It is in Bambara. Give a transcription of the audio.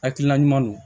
Hakilina ɲuman don